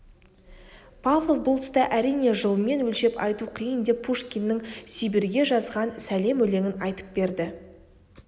павлов бұл тұста әрине жылмен өлшеп айту қиын деп пушкиннің сибирьге жазған сәлем өлеңін айтып берді